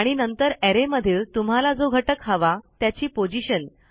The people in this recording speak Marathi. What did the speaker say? आणि नंतर arrayमधील तुम्हाला जो घटक हवा त्याची पोझिशन